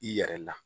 I yɛrɛ la